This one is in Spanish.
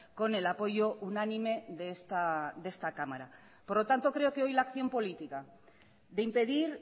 con el apoyo unánime de esta cámara por lo tanto creo que hoy la acción política de impedir